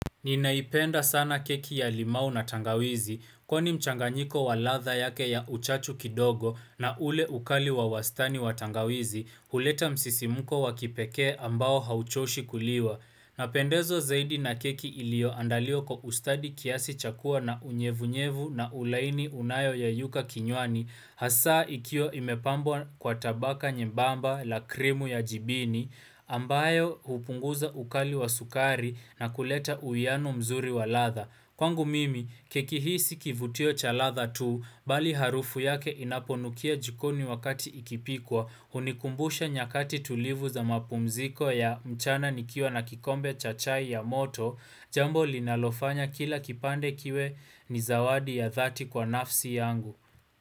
Ninaipenda sana keki ya limau na tangawizi, kwani mchanganyiko wa ladha yake ya uchachu kidogo na ule ukali wa wastani wa tangawizi, huleta msisimko wakipekee ambao hauchoshi kuliwa. Napendewa zaidi na keki iliyoandaliwa kwa ustadi kiasi cha kuwa na unyevu-nyevu na ulaini unaoyeyuka kinywani hasa ikiwa imepambwa kwa tabaka nyembamba la krimu ya jibini ambayo hupunguza ukali wa sukari na kuleta uhiano mzuri wa ladha. Kwangu mimi, keki hii si kivutio cha ladha tu, bali harufu yake inaponukia jikoni wakati ikipikwa, hunikumbusha nyakati tulivu za mapumziko ya mchana nikiwa na kikombe cha chai ya moto, jambo linalofanya kila kipande kiwe ni zawadi ya dhati kwa nafsi yangu.